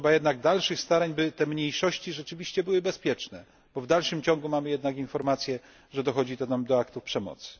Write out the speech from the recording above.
Trzeba jednak dalszych starań, by te mniejszości rzeczywiście były bezpieczne, bo w dalszym ciągu otrzymujemy jednak informacje, że dochodzi tam do aktów przemocy.